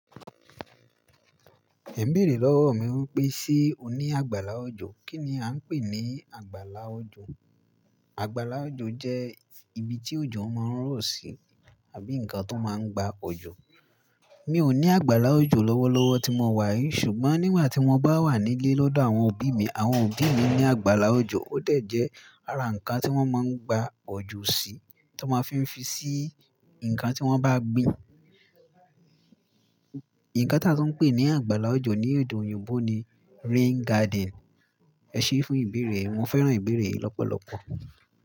Ẹ n bèerè lọ́wọ mi wípé ṣé o ní àgbàlá ojo? Kí ni à ń pè ní àgbàlá ojo? Àgbàlá ojo jẹ́ ibi tí oji máa ń rọ̀ sí àbí ǹkan tó máa ń gba ojo. Mi ò ní àgbàlá ojo lọ́wọ́lọ́wọ́ tí mo wà yìí ṣùgbọ́n nígbà tí mo bá wà nílé lọ́dọ̀ àwọn òbí mi, àwọn òbí mi ní àgbàlá ojo. Ó de jẹ́ ara ǹkan tí wọ́n máa ń gba ojo sí tí wọ́n máa fí ń fi sí ǹkan tí wọ́n bá gbin. Ǹkan tí a tun ń pè ní àgbàlá ojo ní èdè òyìnbó ni rain garden. Ẹ ṣé fún ìbeere yi, mo fẹ́ràn ìbeere yi lọ́pọ̀lọ́pọ̀.